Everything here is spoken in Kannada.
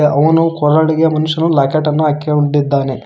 ಅವನು ಕೊರಳಿಗೆ ಮನುಷ್ಯುನ್ ಲಾಕೆಟ್ ಅನ್ನು ಹಾಕ್ಯೊಂಡಿದ್ದಾನೆ.